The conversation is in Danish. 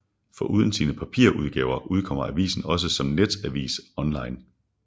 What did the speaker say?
Foruden sine papirudgaver udkommer avisen også som netavis online